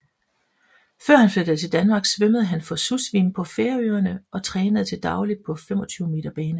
Før han flyttede til Danmark svømmede han for Susvim på Færøerne og trænede til daglig på 25 m bane